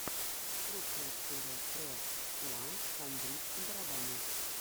лучшая серия про уан хандрид барабаны